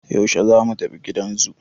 Yashe zamu tafi gidan zoo?